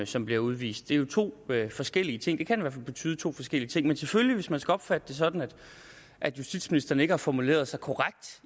som bliver udvist det er jo to forskellige ting det kan i hvert fald betyde to forskellige ting men selvfølgelig hvis man skal opfatte det sådan at justitsministeren ikke har formuleret sig korrekt